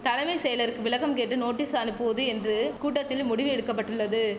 தலைமை செயலருக்கு விளக்கம் கேட்டு நோட்டீஸ் அனுப்புவது என்று கூட்டத்தில் முடிவு எடுக்க பட்டுள்ளது